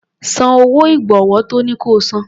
San owó ìgbọ̀wọ́ tọ́ ní ko san.